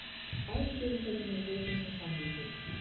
Bæði fyrirtækin eru rekin sem samvinnufélög